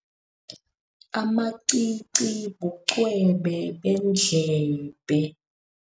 Amacici bucwebe beendlebe.